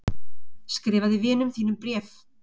Skrifaði vinum þínum bréf.